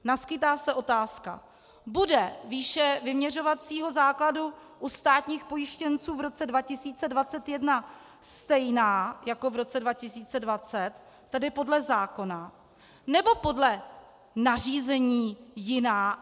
Naskýtá se otázka: Bude výše vyměřovacího základu u státních pojištěnců v roce 2021 stejná jako v roce 2020, tedy podle zákona, nebo podle nařízení jiná?